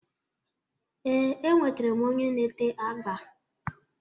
Ee, e nwetere m onye na-ete agba.